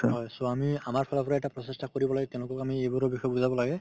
হয়, so আমি আমাৰ ফালৰ পৰা এটা প্ৰচেষ্টা কৰিব লাগে তেওঁলোকক আমি এইবোৰৰ বিষয়ে বুজাব লাগে